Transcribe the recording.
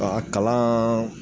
A kalaan